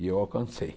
E eu alcancei.